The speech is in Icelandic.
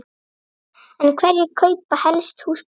En hverjir kaupa helst húsbíla?